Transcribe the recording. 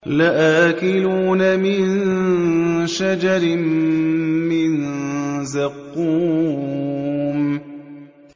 لَآكِلُونَ مِن شَجَرٍ مِّن زَقُّومٍ